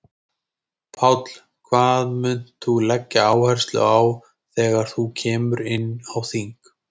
Páll: Hvað munt þú leggja áherslu á þegar þú kemur inn á þing?